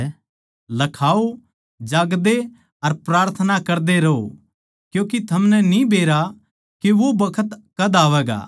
लखाओ जागदे अर प्रार्थना करदे रहो क्यूँके थमनै न्ही बेरा के वो बखत कद आवैगा